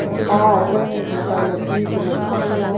एगो पार्क है जेकरा में बीच में झरना --